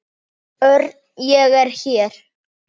Örn, ég er hér